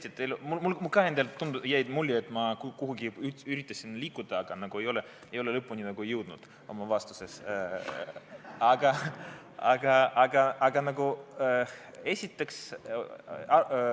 Jah, tõesti, ka mulle endale jäi mulje, et ma kuhugi üritasin liikuda, aga nagu lõpuni oma vastuses ei jõudnud.